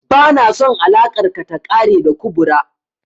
Ba na son alakar ka ta ƙare da kubra